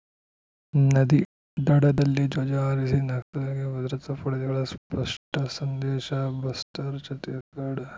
ನದಿ ದಡದಲ್ಲಿ ಧ್ವಜ ಹಾರಿಸಿ ನಕ್ಸಲರಿಗೆ ಭದ್ರತಾ ಪಡೆಗಳ ಸ್ಪಷ್ಟಸಂದೇಶ ಬಸ್ತರ್‌ ಛತ್ತೀಸ್‌ಗಢ